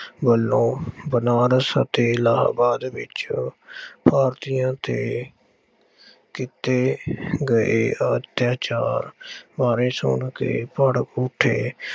ਵੱਲੋਂ ਬਨਾਰਸ ਅਤੇ ਇਲਾਹਾਬਾਦ ਵਿੱਚ ਭਾਰਤੀਆਂ ਤੇ ਕੀਤੇ ਗਏ ਅੱਤਿਆਚਾਰ ਬਾਰੇ ਸੁਣ ਕੇ ਭੜਕ ਉੱਠੇ